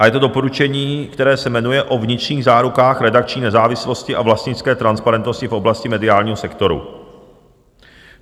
A je to doporučení, které se jmenuje O vnitřních zárukách redakční nezávislosti a vlastnické transparentnosti v oblasti mediálního sektoru.